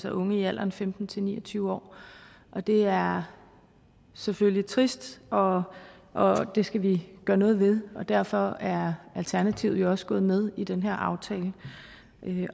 unge i alderen femten til ni og tyve år det er selvfølgelig trist og og det skal vi gøre noget ved og derfor er alternativet jo også gået med i den her aftale